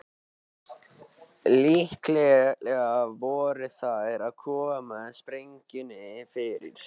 Líklega voru þær að koma sprengjunni fyrir.